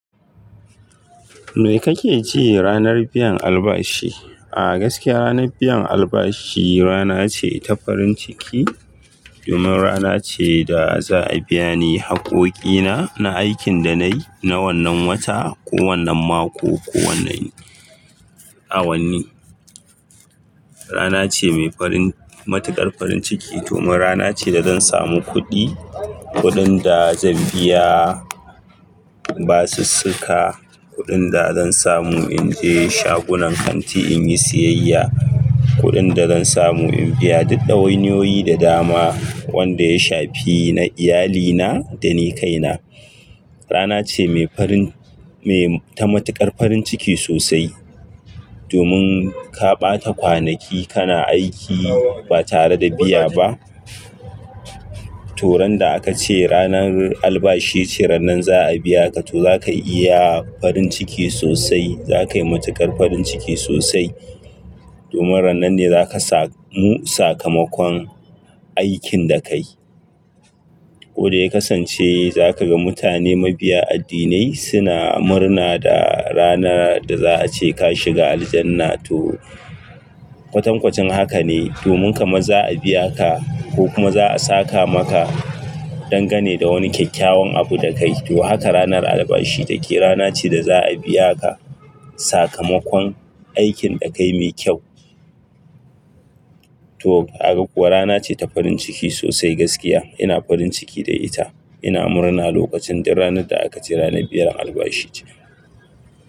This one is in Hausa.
Me kake ji ranar biyan albashi? A gaskiya ranar biyan albashi rana ce ta farin ciki. Domin rana ce da za a biya ni haƙƙoƙi na, na aikin da nayi, na wannan wata ko wannan mako ko wannan awanni. Rana ce mai farin, matuƙar farin ciki domin rana ce da zan samu kuɗi. Kuɗin da zan biya basussuka, kuɗin da zan samu in je shagunan kanti in yi siyayya, kuɗin da zan samu in biya duk ɗawainiyoyi da dama wanda ya shafi na iyalina da ni kaina. Rana ce mai farin, mai matuƙar farin ciki sosai. Domin ka ɓata kwanaki kana aiki ba tare da biya ba. To ran da aka ce ranar albashi ce, ranan za a biya ka to zaka yi farin ciki sosai. Zaka yi matuƙar farin ciki sosai. Domin ranan ne zaka samu sakamakon aikin da kayi. Wadda ya kasance zaka ga mutane mabiya addinai suna murna da rana da za a ce ka shiga aljanna to, kwatankwacin haka ne. Domin kamar za'a biya ka, ko kuma za'a saka maka dangane da wani kyakkyawan abu da ka yi. To haka ranar albashi take rana ce da za'a biya ka sakamakon aikin da ka yi mai kyau. To, rana ce ta farin ciki sosai gaskiya. Ina farin ciki da ita. Ina murna lokacin duk ranar da aka ce ranar biyan albashi ce.